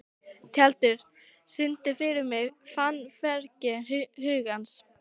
Tjaldur, syngdu fyrir mig „Fannfergi hugans“.